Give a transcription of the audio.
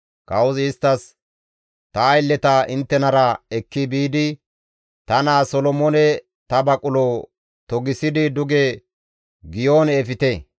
Kawozi isttas, «Ta aylleta inttenara ekki biidi ta naa Solomoone ta baqulo togisidi duge Giyoone efte.